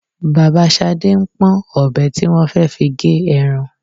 Bàbá Ṣadé ń pọ́n ọ̀bẹ tí wọ́n fẹ́ fi gé ẹran